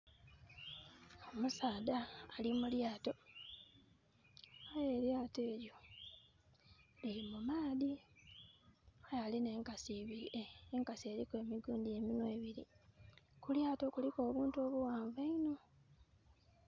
Omusaadha ali mu lyato, aye elyato elyo liri mu maadhi. Aye alinha enkasi eriku emitwe ebiri. Ku lyato kuliku obuntu obughanvu einho.